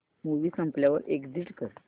movie संपल्यावर exit कर